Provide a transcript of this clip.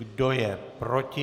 Kdo je proti?